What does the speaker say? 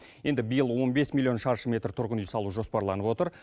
енді биыл он бес миллион шаршы метр тұрғын үй салу жоспарланып отыр